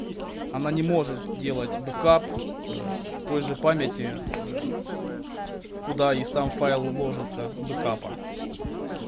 она не может делать бэкап ээ той же памяти ээ куда и сам файл ложиться бэкапа